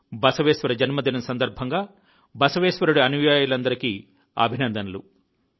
బసవేశ్వర జన్మదినం సందర్భంగా బసవేశ్వరుడి అనుయాయులందరికీ అభినందనలు